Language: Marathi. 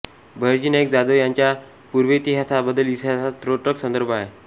बहिर्जी नाईक जाधव यांच्या पूर्वेतिहासाबद्दल इतिहासात त्रोटक संदर्भ आहेत